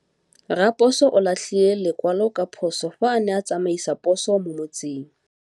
Raposo o latlhie lekwalô ka phosô fa a ne a tsamaisa poso mo motseng.